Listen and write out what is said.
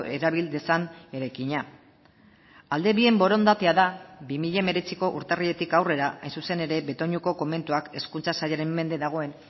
erabil dezan eraikina alde bien borondatea da bi mila hemeretziko urtarriletik aurrera hain zuzen ere betoñoko komentuak hezkuntza sailaren mende dagoen